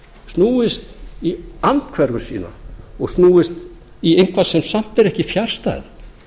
snúist í andhverfu sína og snúist í eitthvað sem samt er ekki fjarstæða